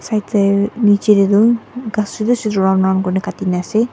nechae tae toh ghas khan chutu chutu round round kurina katina ase.